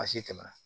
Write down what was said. Baasi tɛ